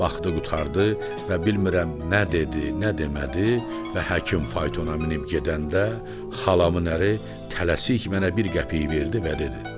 Baxdı, qurtardı və bilmirəm nə dedi, nə demədi və həkim faytona minib gedəndə xalamın əri tələsik mənə bir qəpik verdi və dedi.